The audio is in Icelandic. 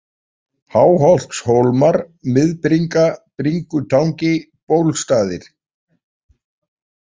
Háholtshólmar, Miðbringa, Bringutangi, Bólstaðir